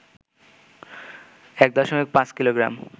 ১.৫ kilogram,